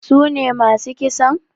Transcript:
Sune masu kisan?